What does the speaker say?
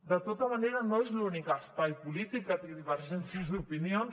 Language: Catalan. de tota manera no és l’únic espai polític que té divergències d’opinions